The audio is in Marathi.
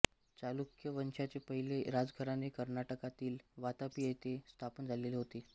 चालुक्य वंशाचे पहिले राजघराणे कर्नाटकातील वातापी येथे स्थापन झालेले होते